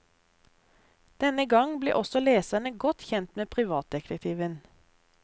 Denne gang blir også leserne godt kjent med privatdetektiven.